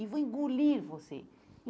E vou engolir você.